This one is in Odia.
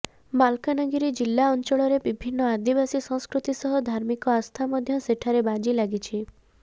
ମାଲକାନଗିରି ଜିଲ୍ଲା ଅଞ୍ଚଳର ବିଭିନ୍ନ ଆଦିବାସୀ ସଂସ୍କୃତି ସହ ଧାର୍ମିକ ଆସ୍ଥା ମଧ୍ୟ ଏଠାରେ ବାଜି ଲାଗିଛି